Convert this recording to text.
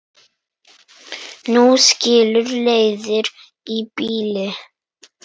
Nú skilur leiðir í bili.